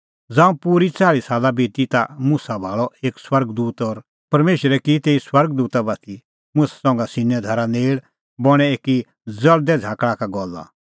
ज़ांऊं पूरी च़ाल़्ही साला बिती ता मुसा भाल़अ एक स्वर्ग दूत और परमेशरै की तेऊ स्वर्ग दूता बाती मुसा संघा सीनै धारा नेल़ बणैं एकी ज़ल़दै झ़ाकल़ा का गल्ला